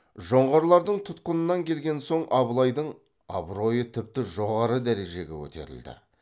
жоңғарлардың тұтқынынан келген соң абылайдың абыройы тіпті жоғары дәрежеге көтерілді